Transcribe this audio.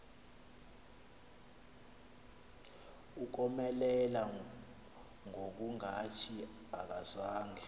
ukomelela ngokungathi akazange